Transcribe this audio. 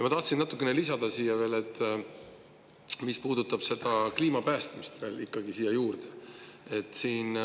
Ma tahan natukene lisada selle kohta, mis puudutab kliima päästmist.